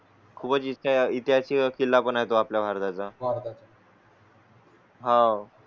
खूप जी त्याच्या केला पण आहे तो आपल्या भारताचा. हा.